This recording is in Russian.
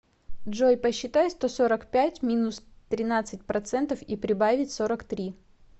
джой посчитай сто сорок пять минус тринадцать процентов и прибавить сорок три